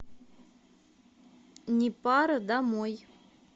непара домой